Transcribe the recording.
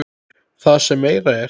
Það sem meira er.